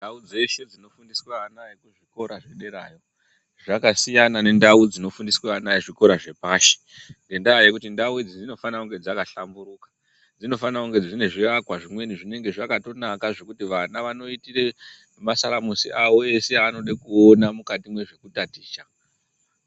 Nhai dzashe dzinofundiswe ana ekuzvikora zvederayo zvakasiyana nendau dzinofundiswe ana ezvikora zvepashi , ngendaya yekuti ndau idzi dzinofanire kunge dzakahlamburuka .Dzinofanire kunge dzine zviakwa zvimweni zvinenge zvakatonaka zvekuti vana vanoitire masaramusi awo ese aanode kuona mukati mwezvekutaticha .